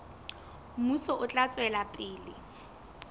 mmuso o tla tswela pele